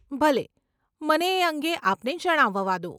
ભલે, મને એ અંગે આપને જણાવવા દો.